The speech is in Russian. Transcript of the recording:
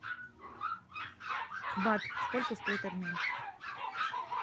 бат сколько стоит обмен